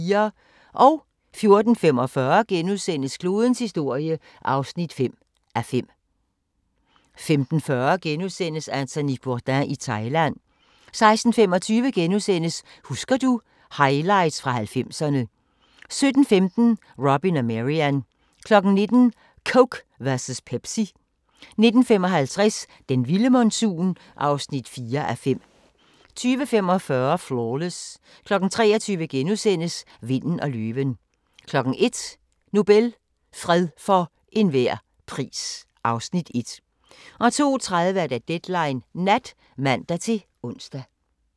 14:45: Klodens historie (5:5)* 15:40: Anthony Bourdain i Thailand * 16:25: Husker du ...- Highlights fra 90'erne * 17:15: Robin og Marian 19:00: Coke versus Pepsi 19:55: Den vilde monsun (4:5) 20:45: Flawless 23:00: Vinden og løven * 01:00: Nobel – fred for enhver pris (Afs. 1) 02:30: Deadline Nat (man-ons)